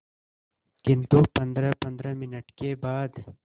किंतु पंद्रहपंद्रह मिनट के बाद